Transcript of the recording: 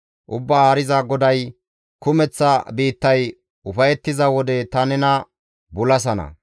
«Ubbaa Haariza GODAY, ‹Kumeththa biittay ufayettiza wode ta nena bulasana.